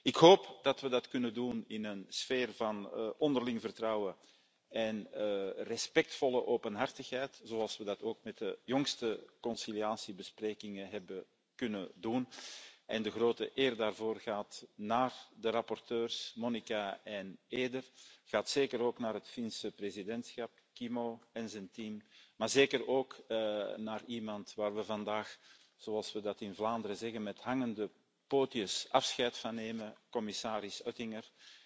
Ik hoop dat we dat kunnen doen in een sfeer van onderling vertrouwen en respectvolle openhartigheid, zoals we dat ook met de laatste besprekingen in het kader van de bemiddelingsprocedure hebben kunnen doen, en de grote eer daarvoor gaat naar de rapporteurs, Monika en Eider, gaat zeker ook naar het Finse presidentschap, Kimmo en zijn team, maar zeker ook naar iemand waar we vandaag zoals we dat in Vlaanderen zeggen, met hangende pootjes afscheid van nemen, commissaris Oettinger.